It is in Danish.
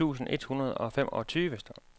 tres tusind et hundrede og femogtyve